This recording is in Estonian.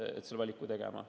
Sa pead selle valiku tegema.